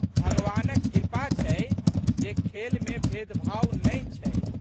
भगवानक कृपा छै जे खेलमे भेदभाव नहि छै।